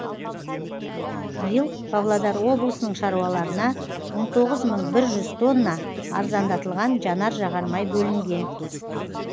биыл павлодар облысының шаруаларына он тоғыз мың бір жүз тонна арзандатылған жанар жағармай бөлінген